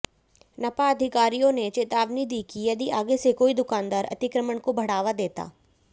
नपा अधिकारियों ने चेतावनी दी कि यदि आगे से कोई दुकानदार अतिक्रमण को बढ़ावा देता